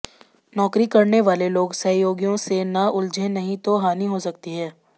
नौकरी करने वाले लोग सहयोगियों से न उलझे नहीं तो हानि हो सकती है